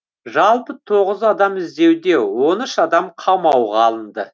жалпы тоғыз адам іздеуде он үш адам қамауға алынды